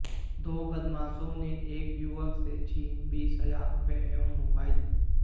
दो बदमाशों ने एक युवक से छीने बीस हजार रुपए एवं मोबाइल